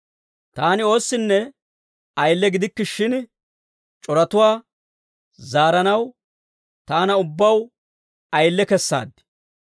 Taani oossinne ayile gidikke shin, c'oratuwaa zaaranaw taana ubbaw ayile kessaad.